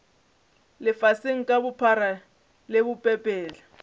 lefaseng ka bophara le bopepetla